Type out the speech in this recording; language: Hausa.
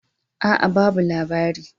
A'a, babu labari